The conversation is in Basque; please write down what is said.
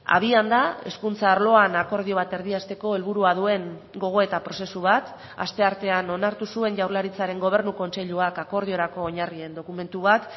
abian da hezkuntza arloan akordio bat erdiesteko helburua duen gogoeta prozesu bat asteartean onartu zuen jaurlaritzaren gobernu kontseiluak akordiorako oinarrien dokumentu bat